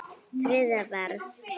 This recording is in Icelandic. Þriðja vers.